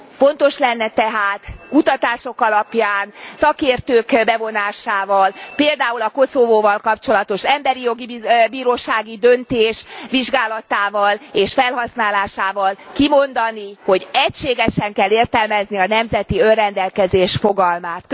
Fontos lenne tehát kutatások alapján, szakértők bevonásával, például a Koszovóval kapcsolatos Emberi Jogi Bírósági döntés vizsgálatával és felhasználásával kimondani, hogy egységesen kell értelmezni a nemzeti önrendelkezés fogalmát.